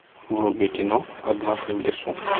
вруби кино однажды в лесу